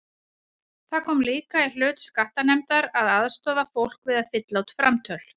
Það kom líka í hlut skattanefndar að aðstoða fólk við að fylla út framtöl.